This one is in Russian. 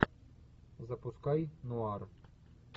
запускай нуар